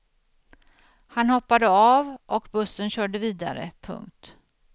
Han hoppade av och bussen körde vidare. punkt